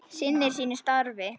Sinnir sínu starfi.